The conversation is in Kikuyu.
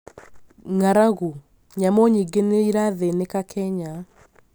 ng'aragu: nyamu nyingĩ nĩirathĩnĩka Kenya